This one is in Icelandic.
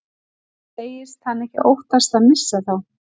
Segist hann ekki óttast að missa þá.